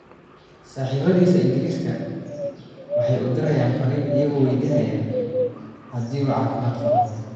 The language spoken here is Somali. Saaxiibadiisa Ingiriiska waxay u dirayaan fariin iyagoo weydiinaya haddii uu caafimaad qabo.